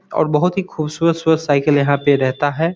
और बहुत ही ख़ूबसूरत साईकिल यहा पे रेहता है।